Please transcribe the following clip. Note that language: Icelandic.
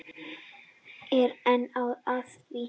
Er enn að því.